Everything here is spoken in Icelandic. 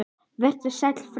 Vertu sæll frændi.